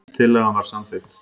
Tillagan var samþykkt.